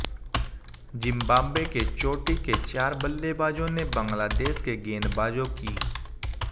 Zimbabwe के चोटी के चार बल्लेबाजों ने बंगलादेश के गेंदबाजों की